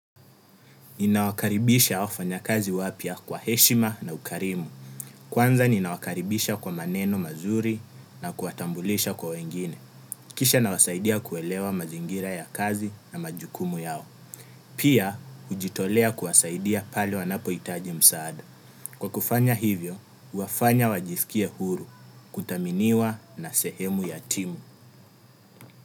Ninawakaribisha wafanya kazi wapya kwa heshima na ukarimu. Kwanza ninawakaribisha kwa maneno mazuri na kuwatambulisha kwa wengine. Kisha nawasaidia kuelewa mazingira ya kazi na majukumu yao. Pia, hujitolea kuwasaidia pale wanapo hitaji msaada. Kwa kufanya hivyo, huwafanya wajisikia huru, kuthaminiwa na sehemu ya timu.